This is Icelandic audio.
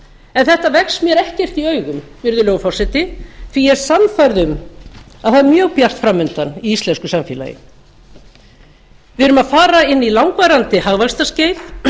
en þetta vex mér ekkert í augum virðulegur forseti því að ég er sannfærð um að það er mjög bjart fram undan í íslensku samfélagi við erum að fara inn í langvarandi hagvaxtarskeið